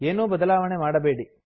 ಏನೂ ಬದಲಾವಣೆ ಮಾಡಬೇಡಿ